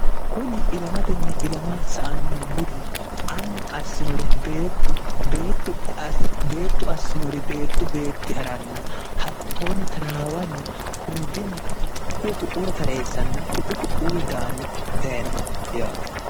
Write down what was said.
kuni ilamatenni ilama sa anno budi annu assinore beettu assinore beettu beetti ha'ranna hattoonni taraawanni hundinni ka'e kuu ku'ura tareessanna ku'u ku'uwi daanni dayinoho yaati